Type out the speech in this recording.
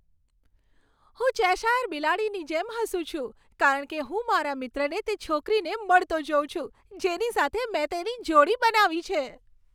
હું ચેશાયર બિલાડીની જેમ હસું છું કારણ કે હું મારા મિત્રને તે છોકરીને મળતો જોઉં છું, જેની સાથે મેં તેની જોડી બનાવી છે.